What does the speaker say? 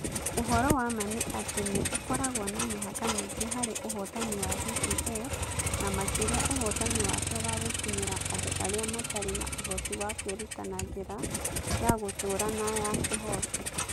Ũhoro wa ma nĩ atĩ nĩ ũkoragwo na mĩhaka mĩingĩ harĩ ũhotani wa DPL, na makĩria ũhotani wake wa gũkinyĩra andũ arĩa matarĩ na ũhoti wa kwĩruta na njĩra ya gũtũũra na ya kĩhooto.